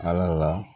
Ala la